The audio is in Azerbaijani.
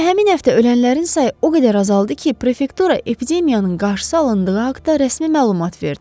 Elə həmin həftə ölənlərin sayı o qədər azaldı ki, prefektura epidemiyanın qarşısı alındığı haqda rəsmi məlumat verdi.